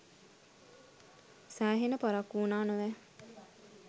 සෑහෙන පරක්කු වුණා නොවැ